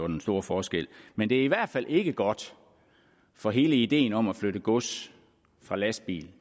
den store forskel men det er i hvert fald ikke godt for hele ideen om at flytte gods fra lastbil